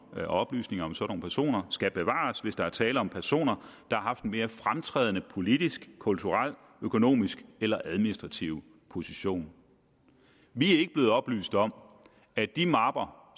at oplysninger om sådanne personer skal bevares hvis der er tale om personer der har haft en mere fremtrædende politisk kulturel økonomisk eller administrativ position vi er ikke blevet oplyst om at de mapper